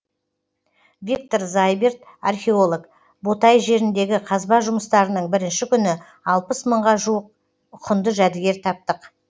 виктор зайберт археолог ботай жеріндегі қазба жұмыстарының бірінші күні алпыс мыңға жуық құнды жәдігер таптық